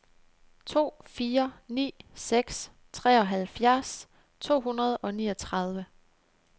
to fire ni seks treoghalvfjerds to hundrede og niogtredive